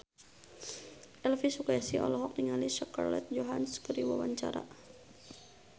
Elvy Sukaesih olohok ningali Scarlett Johansson keur diwawancara